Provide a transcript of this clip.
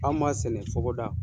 Anw m'a sɛnɛ fɔkɔ da.